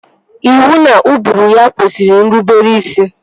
Iwu na ụbụrụ ya kwesịrị nrubere isi